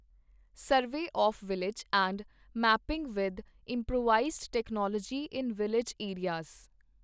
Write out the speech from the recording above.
survey of village and mapping with improvised technology in village areas